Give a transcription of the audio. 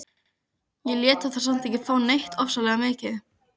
Ég lét þá samt ekki fá neitt ofsalega mikið.